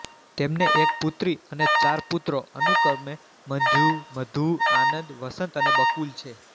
તેમને એક પુત્રી અને ચાર પુત્રો અનુક્રમે મંજુ મધુ આનંદ વસંત અને બકુલ છે